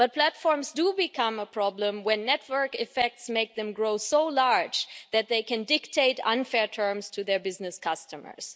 But platforms do become a problem when network effects make them so large that they can dictate unfair terms to their business customers.